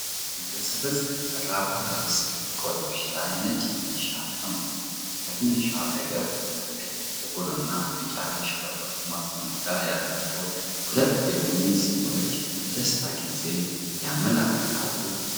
በሰበዝ ከተሰራ ባህላዊ ዝርግ ቆለምሸሽ ላይ ነጭ ፍንዲሻ ተቀምጧል። ከፊንድሻው አጠገብ በቀይ፣ ጥቁር እና ቢጫ ያሸበረቁ ማስቀመጫ ያላቸው ሁለት የቡና ስኒዎች የደስታ ጊዜን ያመለክታሉ።